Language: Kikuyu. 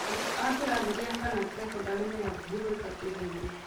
Arutwo a kĩrathi gĩa kana cekondarĩ me hakuhĩ gwĩka kĩgerio